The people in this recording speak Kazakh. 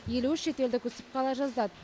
елу үш шетелдік үсіп қала жаздады